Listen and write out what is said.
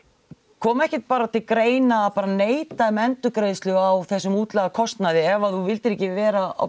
kom ekkert bara til greina að bara neita um endurgreiðslu á þessum útlagða kostnaði ef að þú vildir ekki vera á